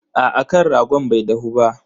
Aa kan ragon bai dahu ba.